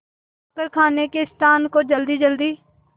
जाकर खाने के स्थान को जल्दीजल्दी